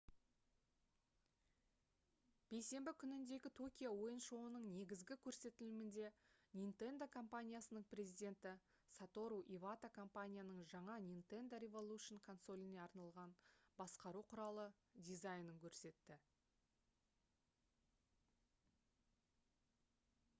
бейсенбі күніндегі токио ойын шоуының негізгі көрсетілімінде nintendo компаниясының президенті сатору ивата компанияның жаңа nintendo revolution консоліне арналған басқару құралы дизайнын көрсетті